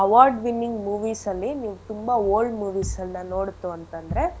Award winning movies ಅಲ್ಲಿ ನೀವ್ ತುಂಬಾ old movies ನ ನೋಡ್ತು ಅಂತಂದ್ರೆ.